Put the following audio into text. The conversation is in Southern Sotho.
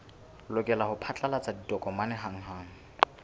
lokela ho phatlalatsa ditokomane hanghang